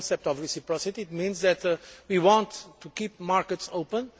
The concept of reciprocity means that we want to keep markets open.